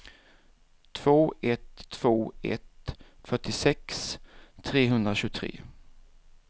två ett två ett fyrtiosex trehundratjugotre